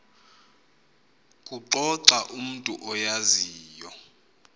kuxoxa umntu oyaziyo